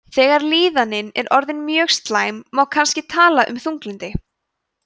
þegar líðanin er orðin mjög slæm má kannski tala um þunglyndi